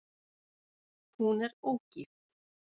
Hún er ógift.